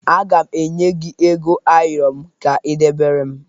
Aga m enye gị ego ayọrọ m ka ị debere m